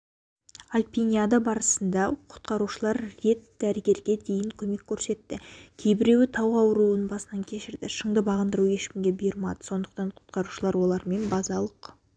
альпиниада барысында құтқарушылар рет дәрігерге дейінгі көмек көрсетті кейбіреуі тау ауруын басынан кешірді шыңды бағындыру ешкімге бұйырмады сондықтан құтқарушылар олармен базалық